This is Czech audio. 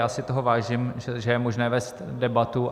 Já si toho vážím, že je možné vést debatu.